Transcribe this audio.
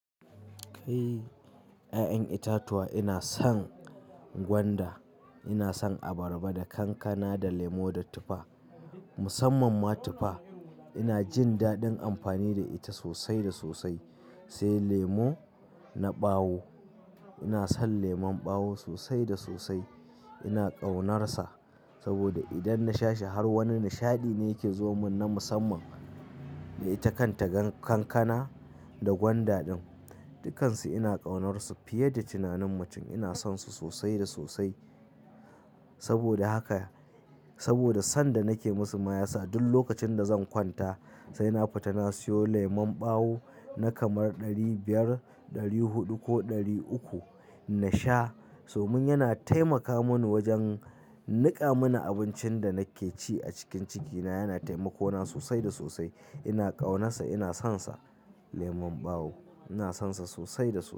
Kai 'ya'yan itatuwa ina son gwanda, ina son abarba da kankana da lemo da tufa. Musamman ma tufa ina jin daɗin amfani da ita sosai da sosai. Sai lemo na ɓawo, ina son lemon ɓawo sosai da sosai. Ina ƙaunarsa saboda idan na sha shi har wani nishaɗi ne yake zo mun na musamman. Da ita kanta kankana da gwanda din, dukansu ina ƙaunarsu fiye da tunanin mutum. Ina sonsu sosai da sosai saboda haka, saboda san da nake musu mayasa duk lokacin da zan kwanta sai na fita na sayo lemon ɓawo na kamar ɗari biyar, ɗari huɗu ko ɗari uku na sha. Domin yana taimaka mun wajen niƙa mana abincin da nake ci a cikin ciki na yana taimakawa sosai da sosai. Ina ƙaunarsa ina sonsa lemon ɓawo ina sonsa sosai da sosai.